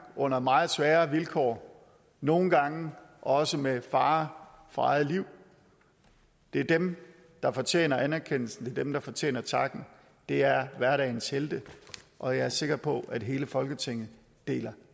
under meget svære vilkår og nogle gange også med fare for eget liv det er dem der fortjener anerkendelsen det er dem der fortjener takken det er hverdagens helte og jeg er sikker på at hele folketinget deler